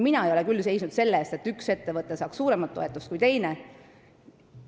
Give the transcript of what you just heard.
Mina ei ole küll seisnud selle eest, et üks ettevõte saaks suuremat toetust kui teine.